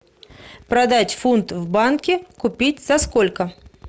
продать фунт в банке купить за сколько